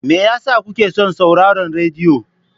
Me yasa kuke son sauraron rediyo?